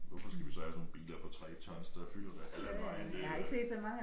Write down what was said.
Hvorfor skal vi så have sådan nogle biler på 3 tons der fylder det halve af vejen det